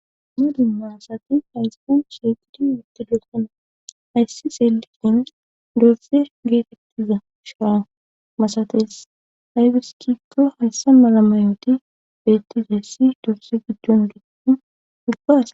dumma dumma asati hayssan shiiqidi utidosona. hayssi xeelishin loytizi getetiza sha'a masatees. aybis giiko hayssa mala mayoti beetizayssi dorze gidon uba asa..